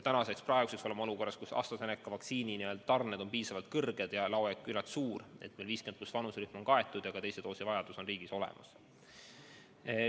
Praeguseks oleme olukorras, kus AstraZeneca vaktsiinitarned on piisavalt suured ja laojääk küllalt suur, nii et meil 50+ vanuserühm on kaetud ja ka teise doosi jagu on seda riigis olemas.